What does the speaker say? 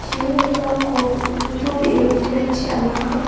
chiring rikamko nitobee rong·terangchi anaha.